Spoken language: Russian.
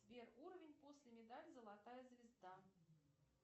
сбер уровень после медаль золотая звезда